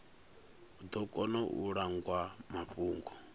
ḓo kona u langwa mafhungo